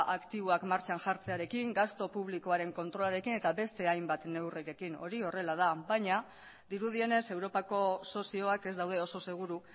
aktiboak martxan jartzearekin gastu publikoaren kontrolarekin eta beste hainbat neurrirekin hori horrela da baina dirudienez europako sozioak ez daude oso seguru